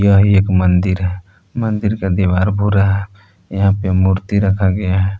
यह एक मंदिर है मंदिर का दीवार भूरा है यहां पे मूर्ति रखा गया है।